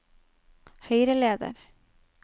høyreleder